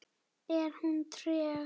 Er hún treg?